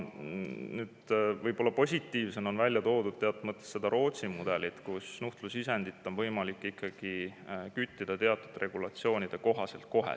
Nüüd, teatud mõttes positiivsena on välja toodud seda Rootsi mudelit, mille puhul nuhtlusisendit on võimalik ikkagi küttida teatud regulatsioonide kohaselt kohe.